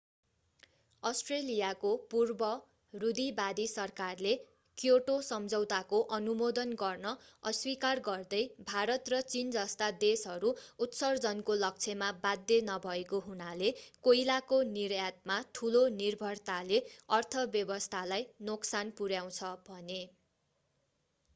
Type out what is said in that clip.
अष्ट्रेलियाको पूर्व रूढीवादी सरकारले क्योटो सम्झौताको अनुमोदन गर्न अस्वीकार गर्दै भारत र चीन जस्ता देशहरू उत्सर्जनको लक्ष्यमा बाध्य नभएको हुनाले कोइलाको निर्यातमा ठूलो निर्भरताले अर्थव्यवस्थालाई नोक्सान पुर्‍याउँछ भने।